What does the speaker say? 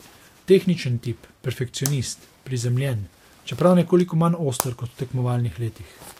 Tehničen tip, perfekcionist, prizemljen, čeprav nekoliko manj oster kot v tekmovalnih letih.